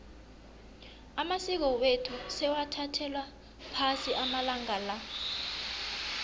amasiko wethu sewathathelwa phasi amalanga la